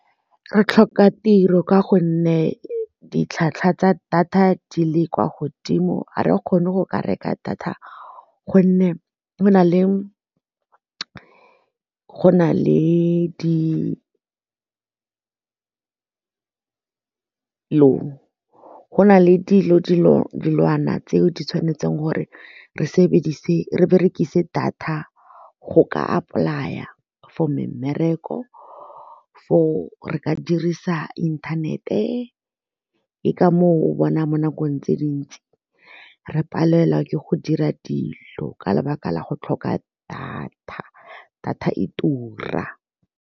Re tlhoka tiro ka gonne ditlhwatlhwa tsa data di le kwa godimo ga re kgone go ka reka data gonne go na le go na le dilwana tse di tshwanetseng gore re berekise data go ka a apply-a for mmereko for o re ka dirisa inthanete ke ka moo o bona mo nakong tse dintsi re palelwa ke go dira dilo ka lebaka la go tlhoka data, data e tura.